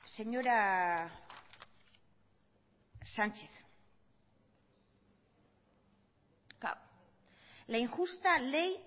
señora sánchez la injusta ley